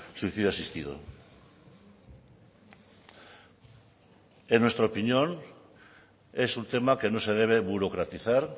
suicidio asistido en nuestra opinión es un tema que no se debe burocratizar